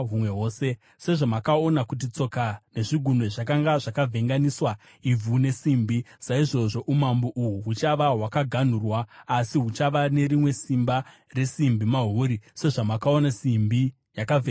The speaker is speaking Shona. Sezvamakaona kuti tsoka nezvigunwe zvakanga zvakavhenganiswa ivhu nesimbi, saizvozvo umambo uhu huchava hwakaganhurwa, asi huchava nerimwe simba resimbi mahuri, sezvamakaona simbi yakavhenganiswa nevhu.